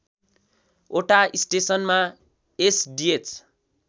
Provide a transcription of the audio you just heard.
वटा स्टेसनमा एसडिएच